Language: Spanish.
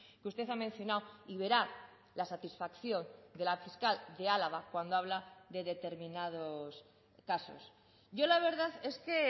que usted ha mencionado y verá la satisfacción de la fiscal de álava cuando habla de determinados casos yo la verdad es que